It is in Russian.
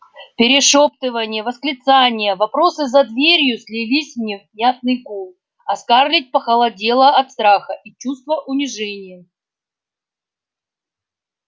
перешёптывания восклицания вопросы за дверью слились в невнятный гул а скарлетт похолодела от страха и чувства унижения